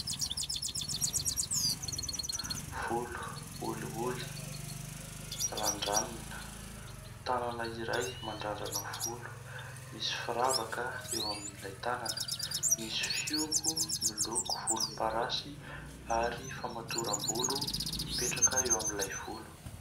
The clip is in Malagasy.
Volo olioly randranina, tanana iray mandrandrana volo, misy firavaka eo amin'ilay tanana, misy fihogo miloko volomparasy ary famatoram-bolo mipetraka eo amin'ilay volo.